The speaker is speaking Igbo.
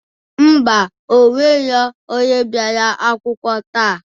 Ḿbà,o nwero onye bịara akwukwọ taa.